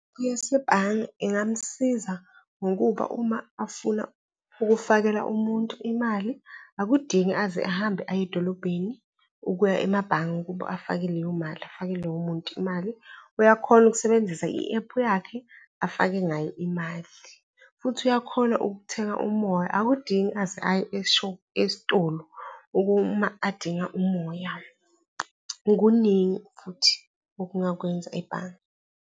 Yasebhange ingamsiza ngokuba uma afuna ukufakela umuntu imali akudingi aze ahambe aye edolobheni ukuya emabhange ukuba afake leyo mali, afakele lowo muntu imali. Uyakhona ukusebenzisa i-ephu yakhe afake ngayo imali, futhi uyakhona ukuthenga umoya. Akudingi aze aye esitolo uma adinga umoya. Okuningi futhi okungakwenza ebhange.